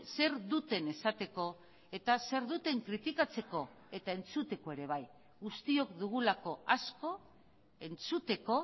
zer duten esateko eta zer duten kritikatzeko eta entzuteko ere bai guztiok dugulako asko entzuteko